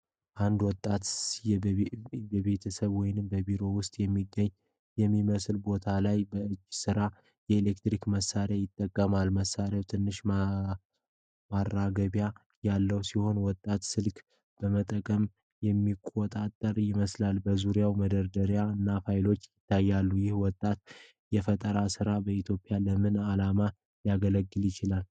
አንድ ወጣት በቤተሰብ ወይም በቢሮ ውስጥ የሚገኝ በሚመስል ቦታ ላይ በእጅ የተሰራ ኤሌክትሮኒክስ መሳሪያ ይጠቀማል። መሣሪያው ትንሽ ማራገቢያ ያለው ሲሆን ወጣቱ ስልክ በመጠቀም የሚቆጣጠረው ይመስላል። በዙሪያው መደርደሪያዎችና ፋይሎች ይታያሉ። ይህ ወጣት የፈጠረው መሳሪያ በኢትዮጵያ ለምን ዓላማ ሊያገለግል ይችላል?